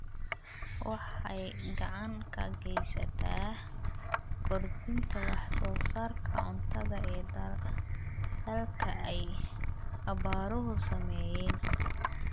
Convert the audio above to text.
Waxay gacan ka geysataa kordhinta wax soo saarka cuntada ee dalalka ay abaaruhu saameeyeen.